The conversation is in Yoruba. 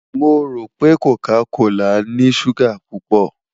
Mo ro pe coca kola ni suga pupọ